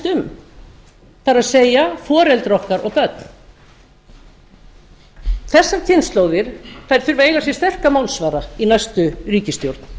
um það er foreldrar okkar og börn þessar kynslóðir þurfa að eiga sér sterka málsvara í næstu ríkisstjórn